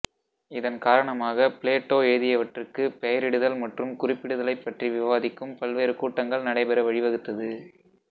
இதன் காரணமாக பிளேட்டோ எழுதியவற்றுக்குப் பெயரிடுதல் மற்றும் குறிப்பிடுதலை பற்றி விவாதிக்கும் பல்வேறு கூட்டங்கள் நடைபெற வழிவகுத்தது